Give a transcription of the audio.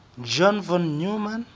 john von neumann